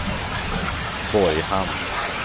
Borghamn